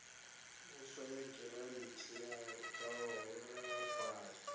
vhuswa ya giranthi ya vhaholefhali